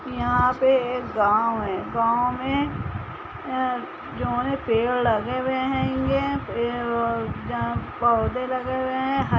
यहाँ पे एक गांव हैं गांव में अ जौने पेड़ लगे हवे हैंगे जहाँ पौधे लगे हुए हैं --